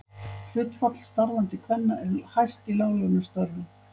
Hlutfall starfandi kvenna er hæst í láglaunastörfum.